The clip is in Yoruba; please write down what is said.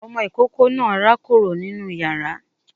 Ọmọ ìkókó náà rákòrò nínú yàrá